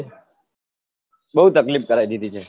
બહુ તકલીફ કરાઈ દીધી છે હમ બીજું કેવું ચાલે તારે